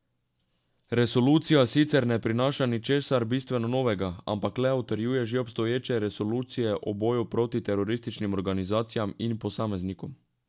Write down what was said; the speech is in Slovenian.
Resolucija sicer ne prinaša ničesar bistveno novega, ampak le utrjuje že obstoječe resolucije o boju proti terorističnim organizacijam in posameznikom.